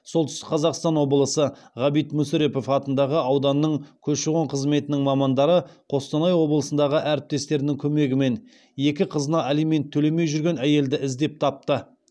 солтүстік қазақстан облысы ғабит мүсірепов атындағы ауданның көші қон қызметінің мамандары қостанай облысындағы әріптестерінің көмегімен екі қызына алимент төлемей жүрген әйелді іздеп тапты